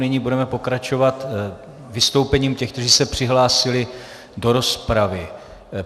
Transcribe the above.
Nyní budeme pokračovat vystoupením těch, kteří se přihlásili do rozpravy.